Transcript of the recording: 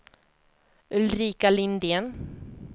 Ulrika Lindén